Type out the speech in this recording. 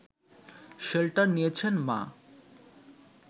shelter নিয়েছেন মা